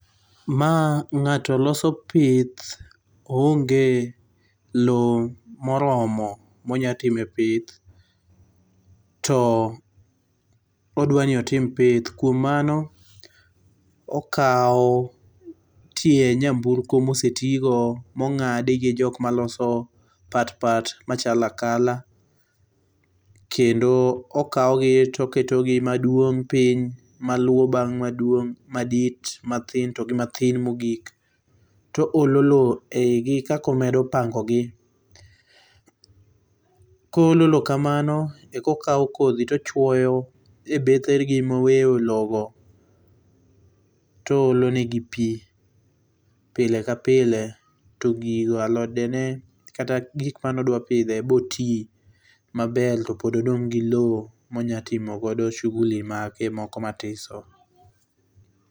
Ma ng'ato loso pith oonge loo moromo monya time pith to odwa ni otim pith kuom mano okao tie nyamburko mose tii go mongadi gi jokma loso pat pat machalo akala kendo okawgi to oketogi maduong piny, maluo bang maduong, madit, mathin togi mathin mogik to oolo loo eigi kaka omedo pango gi .Koolo loo kamano eka okaw kodhi to ochuoyo e bethegi moweyo loo go toole negi pii pile ka pile to gigo alodene kata gikma ne odwa pidho bro tii maber topod odong gi loo monya timo godo shughuli mage mathiso